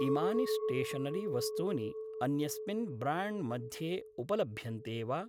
इमानि स्टेशनरी वस्तूनि अन्यस्मिन् ब्राण्ड् मध्ये उपलभ्यन्ते वा?